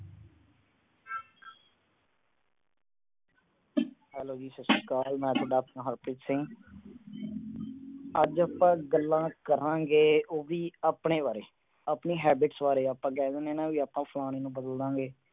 Hello ਜੀ ਸਤਿ ਸ੍ਰੀ ਅਕਾਲ। ਮੈਂ ਤੁਹਾਡਾ ਆਪਣਾ ਹਰਪ੍ਰੀਤ ਸਿੰਘ। ਅੱਜ ਆਪਾ ਗੱਲਾਂ ਕਰਾਂਗੇ, ਉਹ ਵੀ ਆਪਣੇ ਬਾਰੇ। ਆਪਣੀ habits ਬਾਰੇ। ਆਪਾ ਕਹਿ ਦਿਨੇ ਆ ਨਾ ਵੀ ਆਪਾ ਫਲਾਣੇ ਨੂੰ ਬਦਲਦਾਂਗੇ।